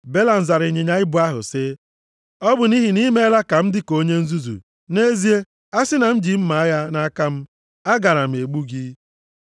Belam zara ịnyịnya ibu ahụ sị, “Ọ bụ nʼihi na i meela ka m dị ka onye nzuzu! Nʼezie, a sị na m ji mma agha nʼaka m, agaara m egbu gị.”